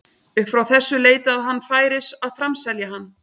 Upp frá þessu leitaði hann færis að framselja hann.